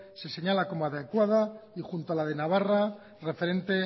se señala como adecuada y junto a la de navarra referente